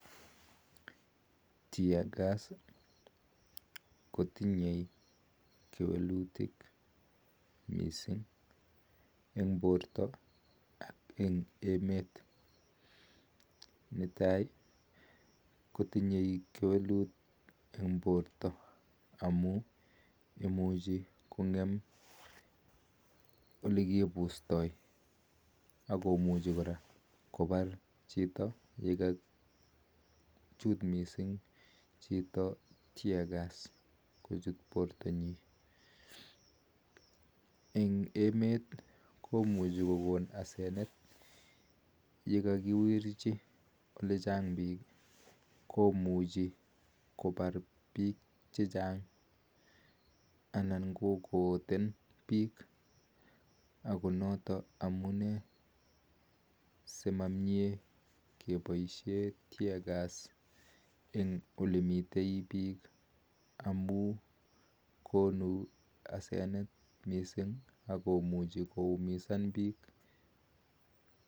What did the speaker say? Teargas kotinyee kewalutik missing eng porta ak emet netai kotinye kewalutik eng porta amun ngemeee oratunwek ap kapuset ako muchi kipar chito eng emet komuchi kopar piik checang ako notok amunee si mamnyee kepaisheen teargas ko muchii koumisan piik